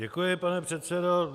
Děkuji, pane předsedo.